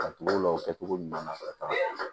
Ka tugu o la o kɛcogo ɲuman na ka taa